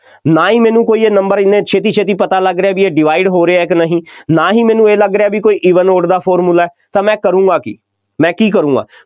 ਨਾ ਹੀ ਮੈਨੂੰ ਕੋਈ number ਐਨੇ ਛੇਤੀ ਛੇਤੀ ਪਤਾ ਲੱਗ ਰਹੇ ਬਈ ਇਹ divide ਹੋ ਰਹੇ ਆ ਕਿ ਨਹੀਂ, ਨਾ ਹੀ ਮੈਨੂੰ ਇਹ ਲੱਗ ਰਿਹਾ ਕੋਈ even odd ਦਾ formula ਹੈ, ਤਾਂ ਮੈਂ ਕਰੂੰਗਾ ਕੀ, ਮੈਂ ਕੀ ਕਰੂੰਗਾ,